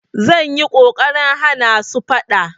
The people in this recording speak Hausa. Zan yi ƙoƙarin hana su faɗa.